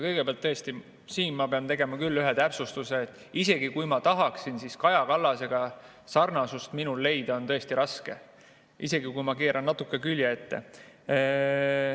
Kõigepealt, tõesti, ma pean tegema ühe täpsustuse: isegi kui ma tahaksin, siis minu ja Kaja Kallase vahel sarnasust leida on tõesti raske, isegi kui ma keeran natuke külje ette.